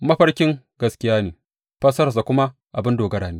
Mafarkin gaskiya ne, fassararsa kuma abin dogara ne.